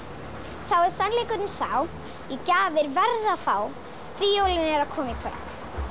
þá er sannleikurinn sá ég gjafir verð að fá því jólin eru að koma í kvöld